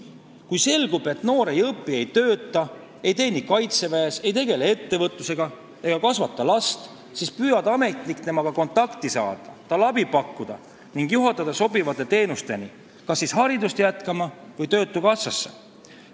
Kui selgub, et noor ei õpi, ei tööta, ei teeni kaitseväes, ei tegele ettevõtlusega ega kasvata last, siis püüab ametnik temaga kontakti saada, talle abi pakkuda ning juhatada ta sobivate töötukassa teenusteni või siis haridussüsteemi.